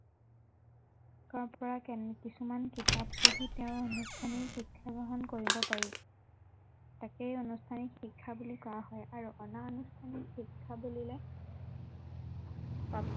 কাৰণ কিছুমান কিতাপ পঢ়ি তেওঁ অনুষ্ঠানিক শিক্ষা গ্ৰহণ কৰিব পাৰি, তাকেই অনুষ্ঠানিক শিক্ষা বুলি কোৱা হয় আৰু অনা অনুষ্ঠানিক শিক্ষা বুলিলে